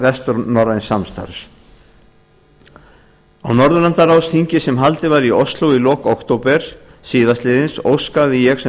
vestnorræns samstarfs á norðurlandaráðsþingi sem haldið var í ole í lok október síðastliðins óskaði ég sem